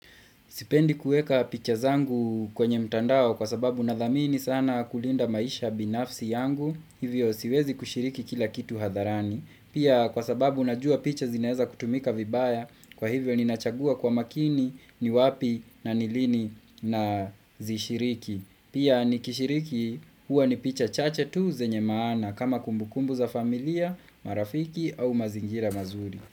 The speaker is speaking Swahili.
Sipendi kuweka picha zangu kwenye mtandao kwa sababu nadhamini sana kulinda maisha binafsi yangu, hivyo siwezi kushiriki kila kitu hadharani. Pia kwa sababu najua picha zinaweza kutumika vibaya, kwa hivyo ninachagua kwa makini ni wapi na ni lini nazishiriki. Pia nikishiriki huwa ni picha chache tu zenye maana kama kumbukumbu za familia, marafiki au mazingira mazuri.